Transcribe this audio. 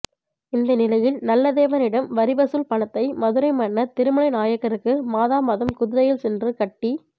இந்நிலையில் நல்லதேவனிடம் வரிவசூல் பணத்தை மதுரைமன்னர் திருமலை நாயக்கருக்கு மாதாமாதம் குதிரையில் சென்று கட்டி